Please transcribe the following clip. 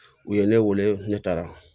U ye ne wele ne taara